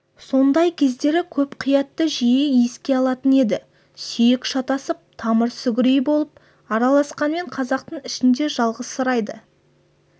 сондай кездері көп қиятты жиі еске алатын еді сүйек шатысып тамыр-сүгірей болып араласқанмен қазақтың ішінде жалғызсырайды